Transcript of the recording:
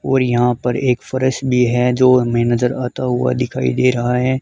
और यहां पर एक फरश भी है जो हमें नजर आता हुआ दिखाई दे रहा है।